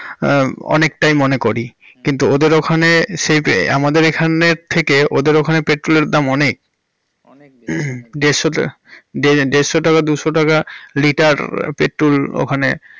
অনেকটাই মনে করি কিন্তু ওদের ওখানে সেহ আমাদের এখানের থেকে ওদের ওখানে petrol এর দাম অনেক। দেড়শো~ দেড়শো টাকা দুশো টাকা litrepetrol ওখানে।